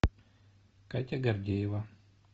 катя гордеева